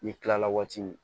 N'i kilala waati min